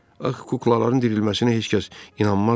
Axı kuklaların dirilməsinə heç kəs inanmazdı.